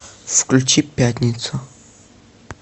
включи пятницу